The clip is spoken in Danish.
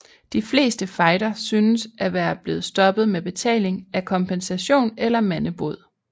De fleste fejder synes at være blevet stoppet med betaling af kompensation eller mandebod